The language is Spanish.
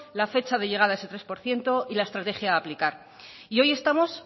la fecha de llegar a ese tres por ciento y la estrategia a aplicar y hoy estamos